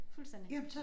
Fuldstændig